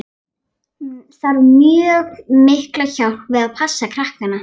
Hún þarf mjög mikla hjálp við að passa krakkana.